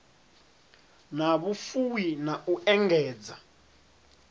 na vhufuwi na u engedza